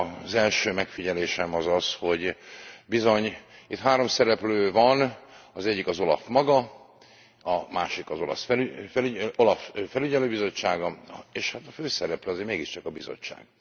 Az első megfigyelésem az az, hogy bizony itt három szereplő van az egyik az OLAF maga, a másik az OLAF felügyelőbizottsága, és hát a főszereplő azért mégiscsak a Bizottság.